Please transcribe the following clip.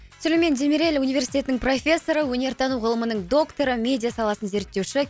сүлеймен демирель университетінің профессоры өнер тану ғылымының докторы медиа саласын зерттеуші